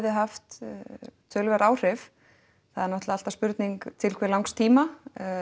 haft töluverð áhrif það er náttúrulega alltaf spurning til hve langs tíma